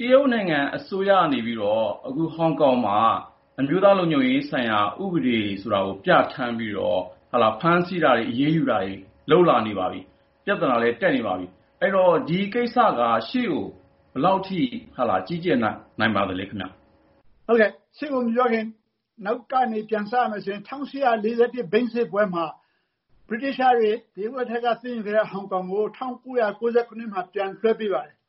တရုတ်နိုင်ငံအစိုးရကနေပြီးတော့ အခုဟောင်ကောင်မှာ အမျိုးသားလုံခြုံရေးဆိုင်ရာ ဥပဒေဆိုတာကို ပြဌာန်းပြီးတော့ ဖမ်းဆီးတာတွေ အရေးယူတာတွေ လုပ်လာနေပါပြီ။ ပြဿနာလည်း တက်နေပါပြီ ၊ အဲဒီတော့ ဒီကိစ္စက ရှေ့ကို ဘယ်လောက်အထိ ကြီးကျယ် လာနိုင်ပါသလဲခင်ဗျ။ ဦးကျော်ဇံသာ။ ။ ရှေ့ကို မပြောခင် နောက်ကနေ ပြန်စရမယ်ဆိုရင် ၁၈၄၁ ဘိန်းစစ်ပွဲမှာ ဗြိတိသျှတွေ တရုတ်လက်ထဲက သိမ်းယူခဲ့တဲ့ဟောင်ကောင်ကို ၁၉၉၇ မှာ ပြန်လွှဲပေးပါတယ်။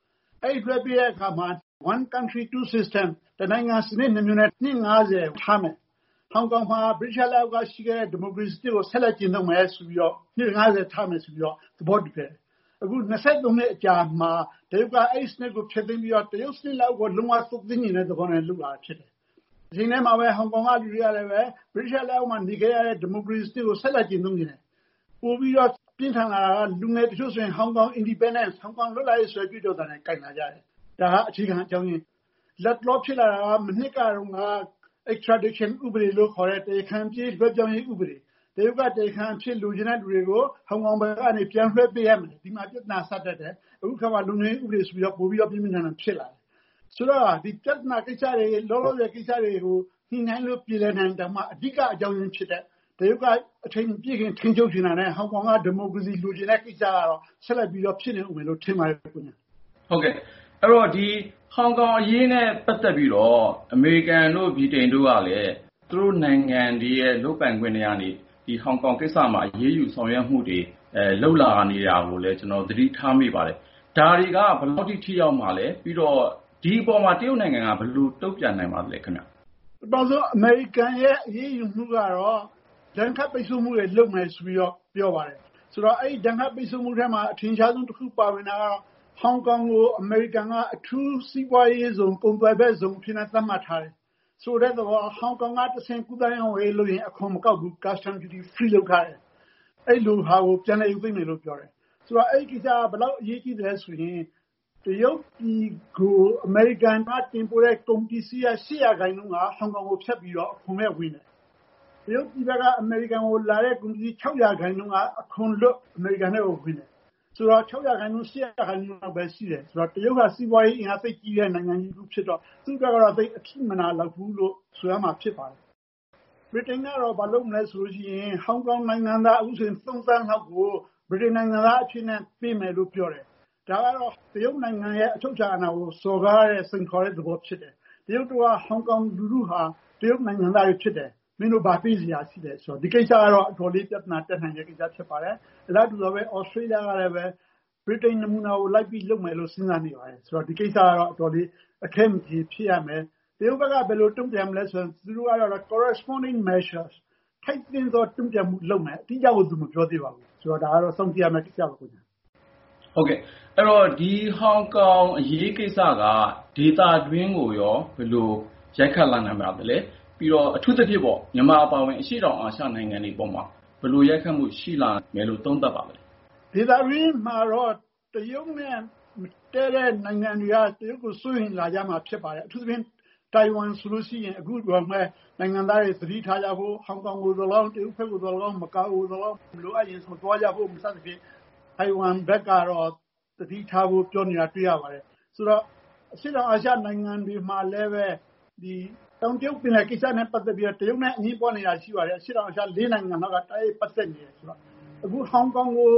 အဲဒီလို လွှဲပေးတဲ့ အခါမှာ “One Country ,Two System” တနိုင်ငံ စနစ် ၂ မျိုးနဲ့ နှစ် ၅၀ အထိ ထားမယ်။ ဟောင်ကောင်ဟာ ဗြိတိသျှလက်အောက်မှာရှိခဲ့တဲ့ ဒီမိုကရေစီစနစ်ကို ပြန်ကျင့်သုံးမယ်ဆိုပြီးတော့ နှစ် ၅၀ ထားမယ် ဆိုပြီးတော့ သဘောတူခဲ့ကြတယ်။ အခု ၂၃ နှစ်အကြာမှာ တရုတ်က အဲဒီစနစ်ကို ဖျက်သိမ်းပြီးတော့ တရုတ်စနစ် လက်အောက်ကို လုံး၀ သွတ်သွင်းချင်တဲ့သဘောနဲ့ လုပ်လာတာဖြစ်တယ်။ တချိန်တည်းမှာပဲ ဟောင်ကောင်က လူတွေကလည်း ဗြိတိသျှလက်အောက်မှာ နေခဲ့ရတဲ့ ဒီမိုကရေစီစနစ်ကို ဆက်လက်ကျင့်သုံးချင်တယ်။ ပိုပြီးတော့ ပြင်းထန်လာတာက လူငယ်တချို့ဆိုရင် Hong Kong Independence ဟောင်ကောင် လွတ်လပ်ရေး ဆိုပြီးတော့ ကြွေးကြော်လာကြတယ် ဒါက အခြေခံအကြောင်းအရင်း ။ လတ်တလော ဖြစ်လာတာက မနှစ်ကတုန်းက extradition ဥပဒေလို့ခေါ်တဲ့ တရားခံပြေး လွှဲပြောင်းရေးဥပဒေ။ တရုတ်က တရားခံအဖြစ် လိုချင်သူတွေကို ဟောင်ကောင် ဘက်ကနေ ပြန်လွှဲပေးရမယ်။ အဲဒီမှာ ပြဿနာ စတက်တယ် အခုအခါမှာ အမျိုးသားလုံခြုံရေးဥပဒေ ဆိုပြီး ပိုပြီးတော့ ပြင်းပြင်းထန်ထန် ဖြစ်လာတယ်။ ဆိုတော့ ဒီ ပြဿနာကိစ္စတွေကို ညှိနှိုင်းလို့ ပြေလည်နိုင်ရင်တောင်မှ အဓိက အကြောင်းအရင်းဖြစ်တဲ့ တရုတ်က အချိန်မပြည့်ခင် ထိန်းချုပ်ချင်တာနဲ့ ဟောင်ကောင်ဘက်က ဒီမိုကရေစီ လိုချင်တဲ့ကိစ္စကတော့ ဆက်လက်ပြီးတော့ ဖြစ်နေဦးမယ်လို့ ထင်ပါတယ်ခင်ဗျ။ ကိုဉာဏ်ဝင်းအောင်။ ။ ဟုတ်ကဲ့ ဟောင်ကောင်အရေးနဲ့ ပတ်သက်ပြီးတော့ အမေရိကန်တို့ ဗြိတိန်တို့ကလည်း သူတို့ နိုင်ငံရဲ့ လုပ်ပိုင်ခွင့်ထဲကနေ ဒီဟောင်ကောင်ကိစ္စမှာ အရေးယူ ဆောင်ရွက်မှုတွေ လုပ်လာနေတာကိုလည်း ကျနော်တို့ သတိထားမိပါတယ်။ ဒါတွေက ဘယ်လောက်အထိ ထိရောက်မှာလည်း ဒီအပေါ်မှာရော တရုတ်နိုင်ငံဘက်က ဘယ်လို တုံ့ပြန်လာနိုင်ပါသလဲ။ ဦးကျော်ဇံသာ။ ။ ပထမဆုံး အမေရိကန်ရဲ့ အရေးယူမှုကတော့ ဒဏ်ခတ်ပိတ်ဆို့မှုတွေ လုပ်မယ်လို့ ပြောပါတယ်။ ဆိုတော့ အဲဒီ ဒဏ်ခတ်ပိတ်ဆို့မှုတွေ ထဲမှာ အထင်ရှားဆုံးတခု ပါဝင်တာကတော့ ဟောင်ကောင်ကို အမေရိကန်က အထူးစီးပွားရေးဇုံ ကုန်သွယ်ဘက်ဇုံ အဖြစ်နဲ့ သတ်မှတ်ထားတယ်။ ဆိုလိုတဲ့သဘောက ဟောင်ကောင်ကနေတဆင့် ကူးသန်းရောင်းဝယ်ရေးလုပ်ရင် အခွန်မကောက်ဘူး Custom duty free လုပ်ထားတယ်။ အဲဒီလိုဟာကို ပြန်လည်ရုပ်သိမ်းမယ်လို့ ပြောတယ်။ ဆိုတော့ အဲဒီကိစ္စက ဘယ်လောက်အရေးကြီးသလဲဆိုရင် တရုတ်ပြည်ကို အမေရိကန်က တင်ပို့တဲ့ ကုန်ပစ္စည်းထဲက ၈ ရာခိုင်နှုန်းက ဟောင်ကောင်ကို ဖြတ်ပြီးတော့ ဟိုဘက်ကို ဝင်တယ်။ တရုတ်ပြည်ဘက်က အမေရိကန်ကို ဝင်တဲ့ ကုန် ၆ ရာခိုင်နှုန်းက အခွန်လွတ် အမေရိကန်ထဲကို ဝင်တယ်။ ဆိုတော့ ၆ ရာခိုင်နှုန်း ၊ ၈ ရာခိုင်နှုန်း လောက်ပဲရှိတယ်ဆိုတော့ တရုတ်က စီးပွားရေးအင်အားသိပ်ကြီးတဲ့ နိုင်ငံတခုဖြစ်တော့ သူ့ဘက်ကတော့ သိပ်အထိမနာလောက်ဘူးလို့ ဆိုရမှာပါ။ ဗြိတိန်ကတော့ ဘာလုပ်မလဲဆိုရင် ဟောင်ကောင်နိုင်ငံသား ၃ သန်းလောက်ကို ဗြိတိန် နိုင်ငံသားပေးမယ်လို့ ပြောတယ်။ ဒါကတော့ တရုတ်နိုင်ငံရဲ့ အချုပ်အခြာအာဏာကို စော်ကားတဲ့ စိန်ခေါ်တဲ့ သဘောဖြစ်တယ်။ တရုတ်တို့က ဟောင်ကောင်လူထုဟာ တရုတ်နိုင်ငံသားတွေဖြစ်တယ်၊ မင်းတို့ ဘာပေးစရာ လိုလို့လဲ ဆိုတော့ ဒီကိစ္စကတော့ အတော်လေး ပြဿနာတက်နိုင်တဲ့ ကိစ္စပါ။ အလားတူ Australia ကလည်း ဗြိတိန်နမူနာကို လိုက်ပြီးလုပ်မယ်လို့ စဉ်းစားနေပါတယ်။ ဆိုတော့ ဒီကိစ္စကတော့ အတော်လေး အခဲမကျေဖြစ်ကြမယ် ။ တရုတ်ဘက်ကတော့ ဘယ်လို တုံ့ပြန်မလဲဆိုတော့ Corresponding Measure ထိုက်သင့်တဲ့ တုံ့ပြန်မှု လုပ်မယ်။ အတိအကျကိုတော့ သူမပြောသေးပါဘူး ဆိုတော့ ဒါကတော့ စောင့်ကြည့်ရမယ့်ကိစ္စပါ။ ကိုဉာဏ်ဝင်းအောင်။ ။ ဟုတ်ကဲ့ ဒီဟောင်ကောင်အရေးကိစ္စက ဒေသတွင်းကိုရော ဘယ်လို ရိုက်ခတ်လာနိုင်ပါသလဲ။ အထူးသဖြင့် မြန်မာအပါအဝင် အရှေ့တောင် အာရှနိုင်ငံတွေအပေါ်မှာ ဘယ်လိုရိုက်ခတ်မှု ရှိလာနိုင်တယ်လို့ သုံးသပ်ပါသလဲ။ ဦးကျော်ဇံသာ။ ။ ဒေသတွင်းမှာတော့ တရုတ်နဲ့ မတည့်တဲ့ နိုင်ငံတွေက တရုတ်ကို စိုးရိမ်လာမှာ ဖြစ်ပါတယ်။ အထူးသဖြင့် ထိုင်ဝမ်ဆိုရင် သူ့နိုင်ငံသားတွေ သတိထားကြဖို့ ၊ ဟောင်ကောင် ကိုသော်လည်းကောင်း၊ တရုတ်ကိုသော်လည်းကောင်း၊ မကာအို သော်လည်းကောင်း မလိုအပ်ရင် မသွားဖို့ စသဖြင့် ထိုင်ဝမ်ဘက်ကတော့ သတိထားဖို့ ပြောနေတာတွေ့ရပါတယ်။ ဆိုတော့ အရှေ့တောင်အာရှ နိုင်ငံတွေမှာလည်း တောင်တရုတ်ပင်လယ်ကိစ္စနဲ့ ပတ်သက်ပြီးတော့ တရုတ်နဲ့ အငြင်းပွားနေတာ ရှိပါတယ်။ အရှေ့တောင်အာရှ ၄ နိုင်ငံလောက်က တိုက်ရိုက်ပတ်သက် နေတယ်ဆိုတော့ အခု ဟောင်ကောင်ကို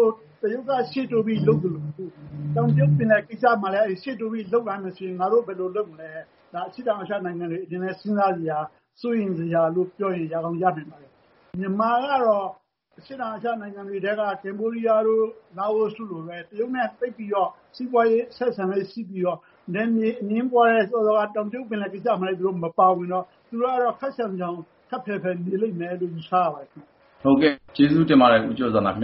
တရုတ်က ရှေ့တိုးပြီးလုပ်သလို ၊ တောင်တရုတ်ပင်လယ် ကိစ္စမှာလည်း ရှေ့တိုးပြီး လုပ်လာမယ်ဆိုရင် ငါတို့ဘယ်လိုလုပ်မလဲ ဒါ အရှေ့တောင်အာရှနိုင်ငံတွေအနေနဲ့ စဉ်းစားစရာ စိုးရိမ်စရာလို့ပြောရင် ရကောင်းရနိုင်ပါတယ်။ မြန်မာကတော့ အရှေ့တောင်အာရှနိုင်ငံတွေထဲက ကမ္ဘောဒီးယား ၊ လာအိုတို့လိုပဲ တရုတ်နဲ့ သိပ်ပြီး စီးပွားရေးအဆက်အဆံ ရှိနေတာရယ်၊ နယ်မြေအငြင်းပွားတဲ့ တောင်တရုတ်ပင်လယ် ကိစ္စမှာလည်း မပါဝင်တော့ သူကတော့ ခပ်ရှောင်ရှောင်ပဲ ခပ်ဖယ်ဖယ်ပဲ နေမယ်လို့ ယူဆရပါတယ်။ ကိုဉာဏ်ဝင်းအောင်။ ။ကျေးဇူးတင်ပါတယ် ဦးကျော်ဇံသာ ခင်ဗ